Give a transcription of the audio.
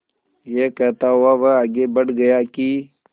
यह कहता हुआ वह आगे बढ़ गया कि